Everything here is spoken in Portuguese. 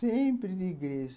Sempre de igreja.